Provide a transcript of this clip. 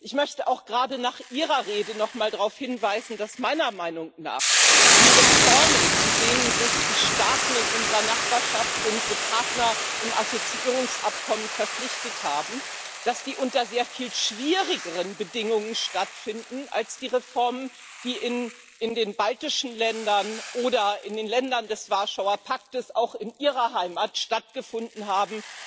Ich möchte auch gerade nach Ihrer Rede nochmal darauf hinweisen, dass meiner Meinung nach die Reformen, zu denen sich die Staaten in unserer Nachbarschaft unsere Partner im Assoziierungsabkommen verpflichtet haben, unter sehr viel schwierigeren Bedingungen stattfinden als die Reformen, die in den baltischen Ländern oder in den Ländern des Warschauer Pakts auch in Ihrer Heimat stattgefunden haben.